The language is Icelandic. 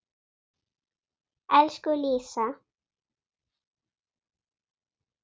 Elsku Lísa.